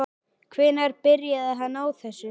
Hvenær byrjaði hann á þessu?